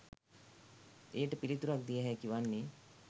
එයට පිළිතුරක් දිය හැකි වන්නේ